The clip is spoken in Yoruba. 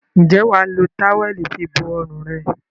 Ǹjẹ́ wà á lo táwẹ́ẹ́lì fibo ọrùn rẹ?